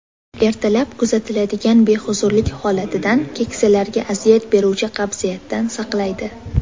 Ertalab kuzatiladigan behuzurlik holatidan, keksalarga aziyat beruvchi qabziyatdan saqlaydi.